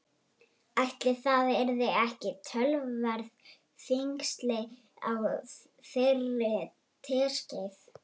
Ætli það yrðu ekki töluverð þyngsli á þeirri teskeið.